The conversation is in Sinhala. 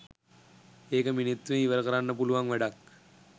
ඒක මිනිත්තුවෙන් ඉවර කරන්න පුළුවන් වැඩක්.